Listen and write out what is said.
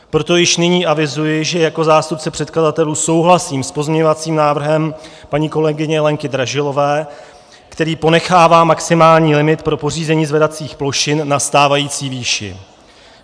Proto již nyní avizuji, že jako zástupce předkladatelů souhlasím s pozměňovacím návrhem paní kolegyně Lenky Dražilové, který ponechává maximální limit pro pořízení zvedacích plošin na stávající výši.